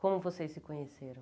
Como vocês se conheceram?